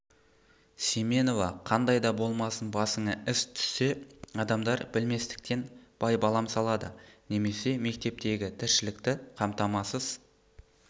семенова қандай да болмасын басыңа іс түссе адамдар білместіктен байбалам салады немесе мектептегі тіршілікті қамтамасыз